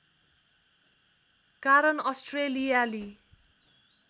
कारण अस्ट्रेलियाली